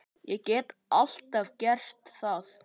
Ég get alltaf gert það.